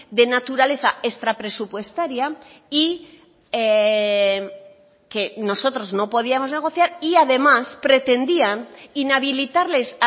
de naturaleza extrapresupuestaria y que nosotros no podíamos negociar y además pretendían inhabilitarles